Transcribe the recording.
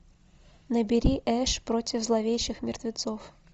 набери эш против зловещих мертвецов